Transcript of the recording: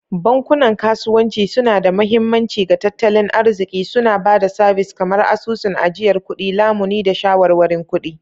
Bankunan kasuwanci suna da mahimmanci ga tattalin arziki, suna ba da sabis kamar asusun ajiyar kuɗi, lamuni, da shawarwarin kuɗi.